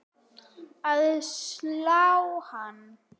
að slá hann.